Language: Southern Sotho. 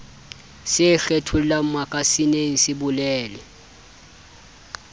se kgethollang makasineng se bolele